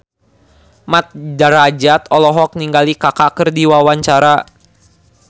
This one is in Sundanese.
Mat Drajat olohok ningali Kaka keur diwawancara